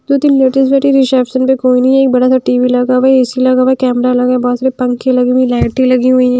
दो तीन लेडीज बैठी रिसेप्शन पे कोई नही है एक बड़ा सा टी_वी लगा हुआ है ए_सी लगा हुआ है कैमरा लगा बहोत सारे पंखे लगे हुए लाइटे लगी हुईं--